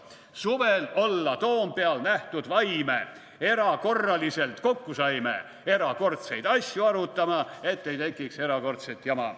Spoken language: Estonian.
/ Suvel olla Toompeal nähtud vaime, / erakorraliselt kokku saime / erakordseid asju arutama, / et ei tekiks erakordset jama.